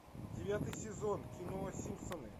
девятый сезон кино симпсоны